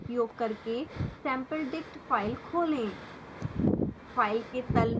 gedit का उपयोग करके sampledict फाइल खोलें